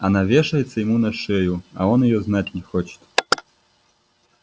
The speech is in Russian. она вешается ему на шею а он её знать не хочет